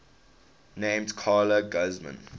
named carla guzman